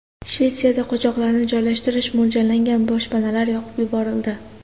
Shvetsiyada qochoqlarni joylashtirish mo‘ljallangan boshpanalar yoqib yuborildi.